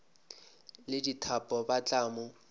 le dithapo ba tla mo